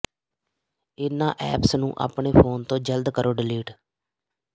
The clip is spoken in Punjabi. ਇਨ੍ਹਾਂ ਐਪਸ ਨੂੰ ਆਪਣੇ ਫੋਨ ਤੋਂ ਜਲਦ ਕਰੋ ਡਿਲੀਟ